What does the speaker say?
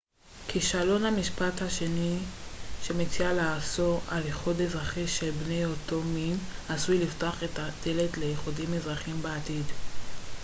כישלון המשפט השני שמציע לאסור על איחוד אזרחי של בני אותו מין עשוי לפתוח את הדלת לאיחודים אזרחיים בעתיד